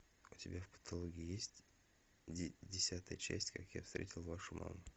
у тебя в каталоге есть десятая часть как я встретил вашу маму